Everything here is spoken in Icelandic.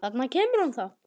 Þarna kemur hún þá!